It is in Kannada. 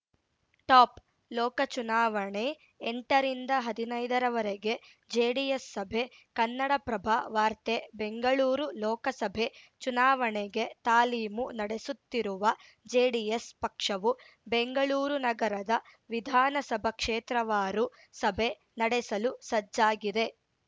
ಟಾಪ್‌ ಲೋಕ ಚುನಾವಣೆ ಎಂಟರಿಂದ ಹದಿನೈದರವರೆಗೆ ಜೆಡಿಎಸ್‌ ಸಭೆ ಕನ್ನಡಪ್ರಭ ವಾರ್ತೆ ಬೆಂಗಳೂರು ಲೋಕಸಭೆ ಚುನಾವಣೆಗೆ ತಾಲೀಮು ನಡೆಸುತ್ತಿರುವ ಜೆಡಿಎಸ್‌ ಪಕ್ಷವು ಬೆಂಗಳೂರು ನಗರದ ವಿಧಾನಸಭಾ ಕ್ಷೇತ್ರವಾರು ಸಭೆ ನಡೆಸಲು ಸಜ್ಜಾಗಿದೆ